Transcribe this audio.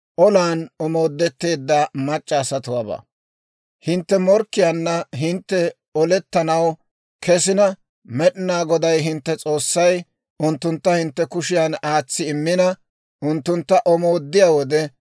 «Hintte morkkiyaanna hintte olettanaw kesina, Med'inaa Goday, hintte S'oossay, unttuntta hintte kushiyan aatsi immina, unttuntta omooddiyaa wode,